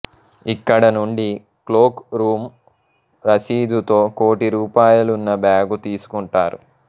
అక్కడి నుండి cloak room రసీదుతో కోటి రూపాయలున్న బ్యాగు తీసుకుంటారు